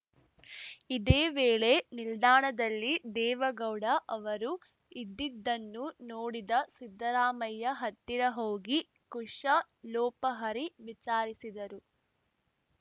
ಇದೇ ವೇಳೆ ನಿಲ್ದಾಣದಲ್ಲಿ ದೇವೇಗೌಡ ಅವರು ಇದ್ದಿದ್ದನ್ನು ನೋಡಿದ ಸಿದ್ದರಾಮಯ್ಯ ಹತ್ತಿರ ಹೋಗಿ ಕುಶಲೋಪಹರಿ ವಿಚಾರಿಸಿದರು